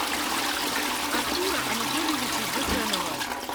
артура анатольевича баженова